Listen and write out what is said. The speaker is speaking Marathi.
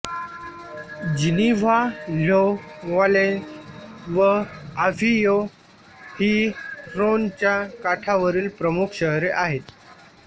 जिनीव्हा ल्यों व्हालेंस व आव्हियों ही ऱ्होनच्या काठावरील प्रमुख शहरे आहेत